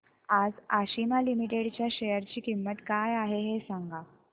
आज आशिमा लिमिटेड च्या शेअर ची किंमत काय आहे हे सांगा